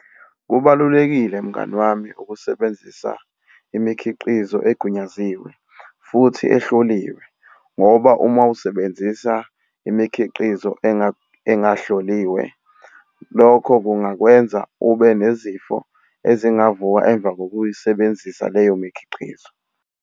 Kubalulekile mngani wami ukusebenzisa imikhiqizo egunyaziwe futhi ehloliwe, ngoba uma usebenzisa imikhiqizo engahloliwe, lokho kungakwenza ube nezifo ezingavuka emva kokuyisebenzisa leyo mikhiqizo.